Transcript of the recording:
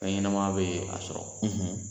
Fɛnɲɛnama bɛ a sɔrɔ